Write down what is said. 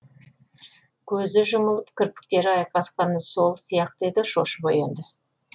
көзі жұмылып кірпіктері айқасқаны сол сияқты еді шошып оянды